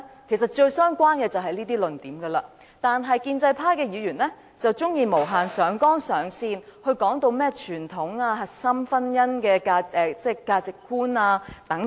其實最相關的便是這些論點，但建制派議員卻喜歡無限上綱上線，說甚麼傳統核心婚姻價值觀等。